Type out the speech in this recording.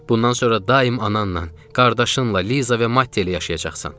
Bundan sonra daim ananla, qardaşınla, Liza və Matiyə ilə yaşayacaqsan.